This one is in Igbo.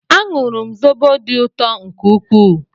Añụru m zobo dị ụtọ nke ukwuu